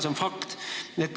See on fakt!